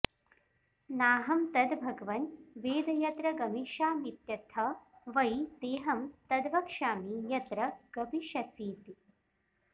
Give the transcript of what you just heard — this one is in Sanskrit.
नाहं तद् भगवन् वेद यत्र गमिष्यामीत्यथ वै तेऽहं तद्वक्ष्यामि यत्र गमिष्यसीति